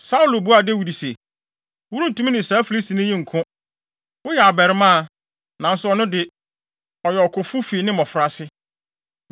Saulo buaa Dawid se, “Worentumi ne saa Filistini yi nko. Woyɛ abarimaa, nanso ɔno de, ɔyɛ ɔkofo fi ne mmofraase.”